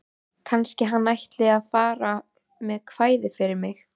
Kannski hann ætli að fara með kvæði fyrir mig.